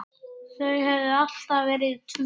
Þau höfðu alltaf verið tvö.